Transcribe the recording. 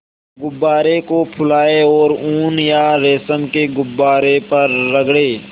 गुब्बारे को फुलाएँ और ऊन या रेशम को गुब्बारे पर रगड़ें